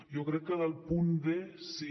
jo crec que del punt d sí